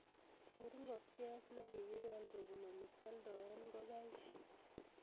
Kuur ngokchet negigipel kobunu olegioldoen ngokaik